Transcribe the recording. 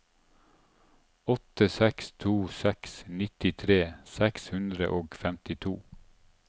åtte seks to seks nittitre seks hundre og femtito